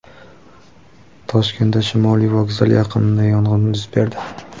Toshkentda Shimoliy vokzal yaqinida yong‘in yuz berdi.